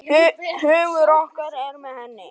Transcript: Hugur okkar er með henni.